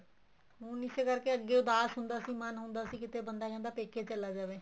ਹੁਣ ਇਸੇ ਕਰਕੇ ਅੱਗੇ ਉਦਾਸ ਹੁੰਦਾ ਸੀ ਮੰਨ ਹੁੰਦਾ ਸੀ ਕਿੱਥੇ ਬੰਦਾ ਕਹਿੰਦਾ ਪੇਕੇ ਚਲਾ ਜਾਵੇ